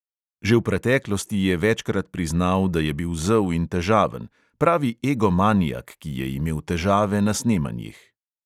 Že v preteklosti je večkrat priznal, da je bil zel in težaven, pravi egomanijak, ki je imel težave na snemanjih.